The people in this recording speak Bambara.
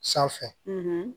Sanfɛ